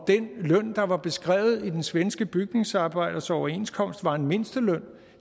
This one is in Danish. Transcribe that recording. løn der var beskrevet i den svenske bygningsarbejders overenskomst var en mindsteløn